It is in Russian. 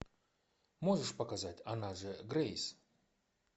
можешь показать она же грейс